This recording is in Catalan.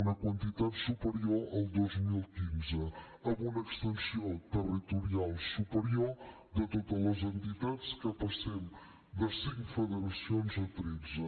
una quantitat superior al dos mil quinze amb una extensió territorial superior de totes les entitats que passem de cinc federacions a tretze